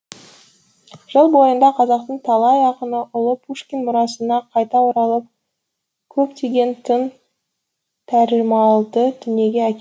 жыл бойында қазақтың талай ақыны ұлы пушкин мұрасына қайта оралып көптеген тың тәржімаларды дүниеге әкелді